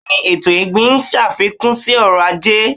B́èẹ ni, ètò ọ̀gbìn ń ṣàfikún sí ọrọ̀-ajé.